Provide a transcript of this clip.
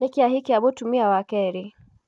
Nĩkĩ ahikia mũtumia wa kerĩ?